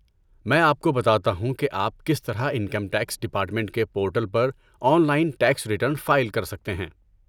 میں آپ کو بتاتا ہوں کہ آپ کس طرح انکم ٹیکس ڈپارٹمنٹ کے پورٹل پر online tax return file کر سکتے ہیں۔